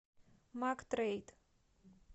мактрейд